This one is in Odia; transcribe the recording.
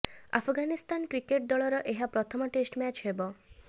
ଆଫଗାନିସ୍ତାନ କ୍ରିକେଟ୍ ଦଳର ଏହା ପ୍ରଥମ ଟେଷ୍ଟ ମ୍ୟାଚ୍ ହେବ